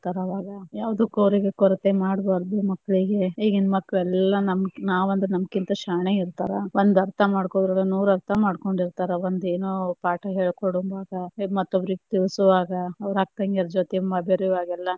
ಆವಾಗ ಯಾವದಕ್ಕೂ ಅವ್ರಿಗೆ ಕೊರತೆ ಮಾಡಬಾರದು ಮಕ್ಕಳಿಗೆ, ಇಗಿನ ಮಕ್ಳ ಎಲ್ಲಾ ನಾವ ಅಂದ್ರ ನಮಕಿಂತ ಶಾಣೆ ಇರ್ತಾರ, ಒಂದ ಅರ್ಥ ಮಾಡ್ಕೊಳುದ್ರಾಗ ನೂರ ಅರ್ಥ ಮಾಡ್ಕೊಂಡಿರ್ತಾರ, ಒಂದ ಏನೋ ಪಾಠ ಹೇಳಿಕೊಡುವಾಗ ಮತ್ತೊಬ್ಬರಿಗ ತಿಳುಸುವಾಗ ಅವ್ರ ಅಕ್ಕತಂಗ್ಯಾರ ಜೊತಿ ಬೇರಿಯುವಾಗ ಎಲ್ಲಾ.